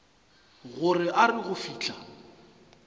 gore a re go fihla